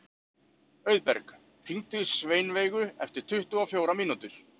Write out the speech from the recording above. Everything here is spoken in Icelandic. Auðberg, hringdu í Sveinveigu eftir tuttugu og fjórar mínútur.